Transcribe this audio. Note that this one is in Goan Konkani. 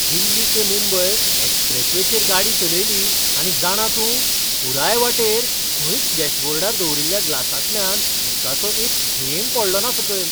दिल्ली ते मुंबय एक्स्प्रेसवेचेर गाडी चलयली आनी जाणा तूं, पुराय वाटेर खंयच डॅशबोर्डार दवरिल्ल्या ग्लासांतल्यान उदकाचो एक थेंब पडलोना सकयल!